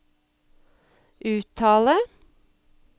uttale